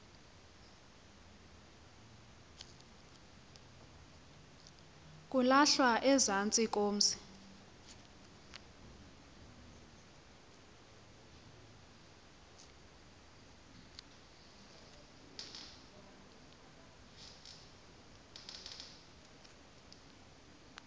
kulahlwa ezantsi komzi